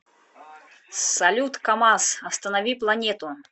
салют камаз останови планету